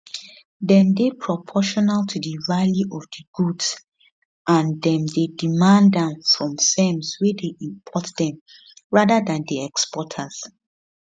dem dey proportional to di value of di goods and dem dey demand am from firms wey dey import dem rather dan di exporters